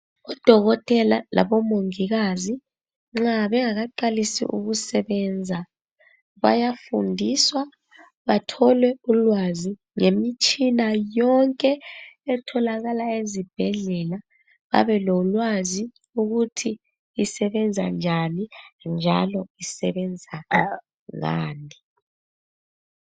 Udokotela labomongikazi nxa bengakaqalisi ukusebenza bayafundiswa bathole ulwazi ngemitshina yonke etholakala ezibhedlela babe lolwazi ukuthi isebenza njani njalo isebenza ngani.